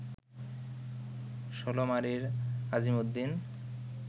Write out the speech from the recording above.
ষোলমারীর Asimuddin